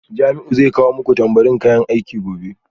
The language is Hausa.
Jamiu zai kawo muku tambarin kayan aiki gobe